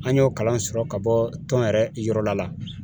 An y'o kalan sɔrɔ ka bɔ tɔn yɛrɛ yɔrɔ la